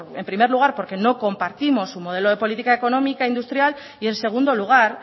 en primer lugar porque no compartimos su modelo de política económica industrial y en segundo lugar